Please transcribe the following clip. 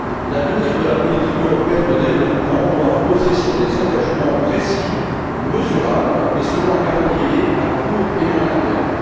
L'avenir de la politique européenne de développement doit reposer sur des engagements précis, mesurables et sur un calendrier à court et moyen terme.